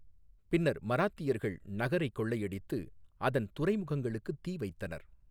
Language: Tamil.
பின்னர் மராத்தியர்கள் நகரைக் கொள்ளையடித்து அதன் துறைமுகங்களுக்கு தீ வைத்தனர்.